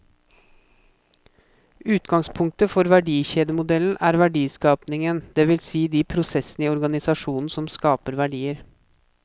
Utgangspunktet for verdikjedemodellen er verdiskapingen, det vil si de prosessene i organisasjonen som skaper verdier.